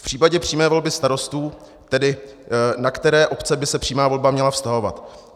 V případě přímé volby starostů tedy, na které obce by se přímá volba měla vztahovat.